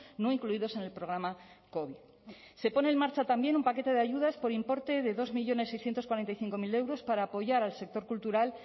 no incluidos con el programa covid se pone en marcha también un paquete de ayudas por importe de dos millónes seiscientos cuarenta y cinco mil euros para apoyar al sector cultural